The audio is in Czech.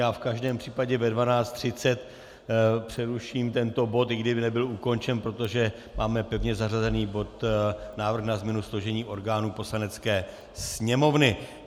Já v každém případě ve 12.30 přeruším tento bod, i kdyby nebyl ukončen, protože máme pevně zařazený bod Návrh na změnu složení orgánů Poslanecké sněmovny.